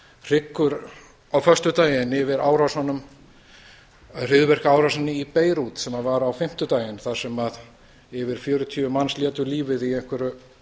hryggur á föstudaginn yfir árásunum hryðjuverkaárásinni í beirút sem var á fimmtudaginn þar sem yfir fjörutíu manns létu lífið í einhverju